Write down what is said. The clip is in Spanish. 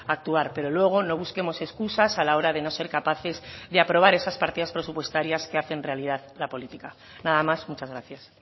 actuar pero luego no busquemos excusas a la hora de no ser capaces de aprobar esas partidas presupuestarias que hacen realidad la política nada más muchas gracias